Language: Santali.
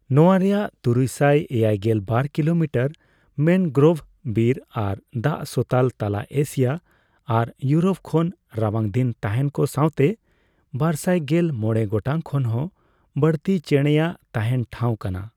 ᱱᱚᱣᱟ ᱨᱮᱭᱟᱜ ᱛᱩᱨᱩᱭ ᱥᱟᱭ ᱮᱭᱟᱭᱜᱮᱞ ᱵᱟᱨ ᱠᱤᱞᱳᱢᱤᱴᱟᱨ ᱢᱮᱱᱜᱨᱳᱵᱷ ᱵᱤᱨ ᱟᱨ ᱫᱟᱜᱥᱚᱛᱟᱞ ᱛᱟᱞᱟ ᱮᱥᱤᱭᱟ ᱟᱨ ᱤᱭᱩᱨᱳᱯ ᱠᱷᱚᱱ ᱨᱟᱵᱟᱝ ᱫᱤᱱ ᱛᱟᱸᱦᱮᱱ ᱠᱚ ᱥᱟᱣᱛᱮ ᱵᱟᱨᱥᱟᱭ ᱜᱮᱞ ᱢᱚᱲᱮ ᱜᱚᱴᱟᱝ ᱠᱷᱚᱱ ᱦᱚᱸ ᱵᱟᱹᱲᱛᱤ ᱪᱮᱸᱲᱮ ᱟᱜ ᱛᱟᱸᱦᱮᱱ ᱴᱷᱟᱣ ᱠᱟᱱᱟ ᱾